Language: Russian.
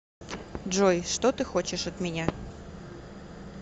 джой что ты хочешь от меня